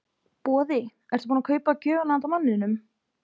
Boði: Ertu búin að kaupa gjöfina handa manninum?